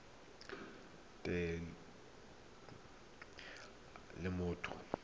thelebi ene e neela motho